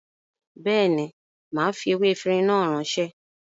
Béèni, màá fi ewé efinrin náà ránṣẹ́